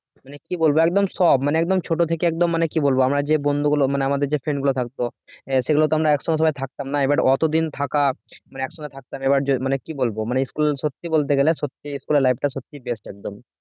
মানে কি বলবো একদম সব মানে একদম ছোট থেকে একদম মানে কি বলবো আমার যে বন্ধুগুলো মানে আমাদের friend গুলো থাকতো আহ সেগুলো তো আমরা একসঙ্গে থাকতাম না but অতদিন থাকা একসঙ্গে থাকতাম এবার মানে কি বলবো মানে school সত্যি বলতে গেলে school life টা সত্যিই একদম